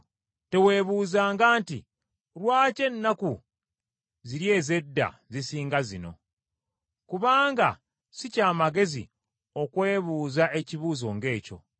Teweebuuzanga nti, “Lwaki ennaku ziri ez’edda zisinga zino?” Kubanga si kya magezi okwebuuza ekibuuzo ng’ekyo.